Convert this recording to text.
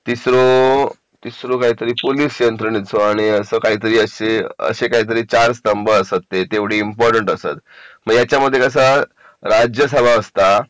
तिसरा होतो पोलीस यंत्रणेचा आणि असं काहीतरी आणि असे काहीतरी चार स्तंभ असतात ते तेवढी इम्पॉर्टंट असतात मग याच्यामध्ये कसं राज्यसभा असता